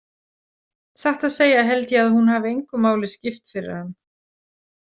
Satt að segja held ég að hún hafi engu máli skipt fyrir hann.